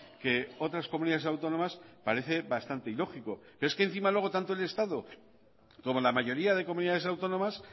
que otras comunidades autónomas parece bastante ilógico pero es que encima luego tanto el estado como la mayoría de comunidades autónomas